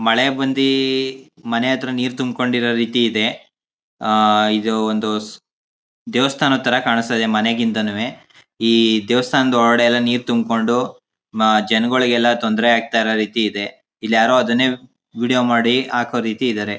ಮಳೆ ಬಂದಿ ಮನೆ ಹತ್ರ ನೀರ್ ತುಮ್ಕೊಂಡಿರೋ ರೀತಿ ಇದೆ. ಅ ಇದು ಒಂದು ದೇವಸ್ಥಾನ ತರ ಕಾಣ್ಸ್ತ ಇದೆ ಮನೆ ಕಿಂತನುವೆ. ಇ ದೇವಸ್ಥಾನ ಒಳಗೆಲ್ಲ ನೀರ್ ತುಮ್ಕೊಂಡು ಮ ಜನಗೋಳಿಗೆಲ್ಲ ತೊಂದರೆ ಆಕ್ತಾ ರೀತಿ ಇದೆ ಇಲ್ಲಿ ಯಾರೋ ಅದ್ನ್ ವಿಡಿಯೋ ಮಾಡಿ ಹೋಕೋ ರೀತಿ ಇದರೆ.